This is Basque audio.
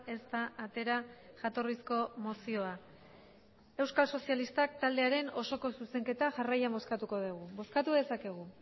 ez da atera jatorrizko mozioa euskal sozialistak taldearen osoko zuzenketa jarraian bozkatuko dugu bozkatu dezakegu